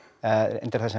reyndar þar sem